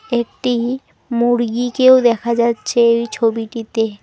একটি মুরগিকেও দেখা যাচ্ছে ওই ছবিটিতে।